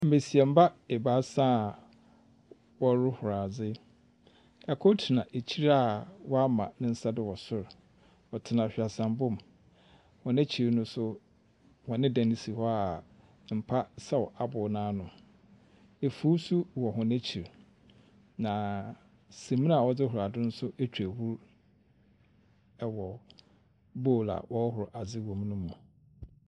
Mmesiamba ebaasa a wɔroho adze. Kor tena ekyir a wama nsa do wɔ sor. Ɔtena hwaseambɔ mu. Hɔn ekyir no nso hɔn dan si hɔ a mpa sɛw aboo no ano. Fui nso wɔ hɔn ekyir, na samena a wɔdze horo adze nso atwa ahur wɔ bowl a wɔrohoro adze wom no mu.